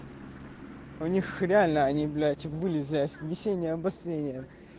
у них реально они блять вылезли весеннее обострение